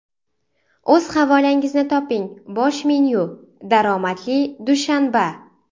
O‘z havolangizni toping: Bosh menyu -> Daromadli dushanba!